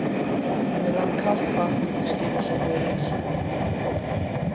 Mér rann kalt vatn milli skinns og hörunds.